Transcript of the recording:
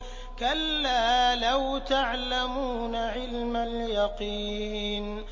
كَلَّا لَوْ تَعْلَمُونَ عِلْمَ الْيَقِينِ